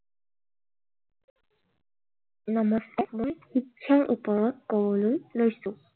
নমস্কাৰ, মই শিক্ষাৰ ওপৰত ক'বলৈ লৈছো।